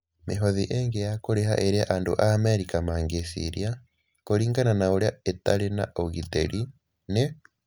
Mĩhothi ĩngĩ ya kũrĩha ĩrĩa andũ a Amerika mangĩciria, kũringana na ũrĩa ĩtarĩ na ũgitĩri, nĩ: